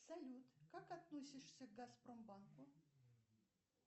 салют как относишься к газпромбанку